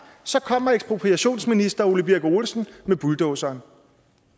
så kommer ekspropriationsminister ole birk olesen med bulldozeren